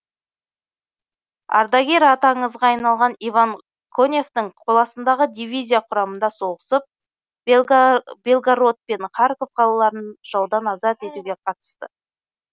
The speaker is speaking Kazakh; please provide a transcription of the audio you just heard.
ардагер аты аңызға айналған иван коневтың қоластындағы дивизия құрамында соғысып белгород пен харьков қалаларын жаудан азат етуге қатысты